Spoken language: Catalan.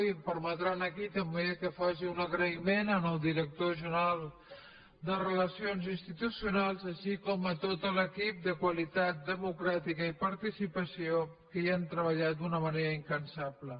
i em permetran aquí també que faci un agraïment al director general de relacions institucionals així com a tot l’equip de qualitat democràtica i participació que hi han treballat d’una manera incansable